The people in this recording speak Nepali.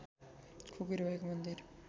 खुकुरी भएको मन्दिर